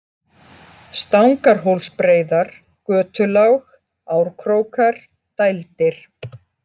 Stangarhólsbreiðar, Götulág, Árkrókar, Dældir